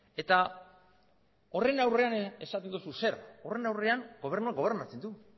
eta horren aurrean esaten duzu zer horren aurrean gobernuak gobernatzen du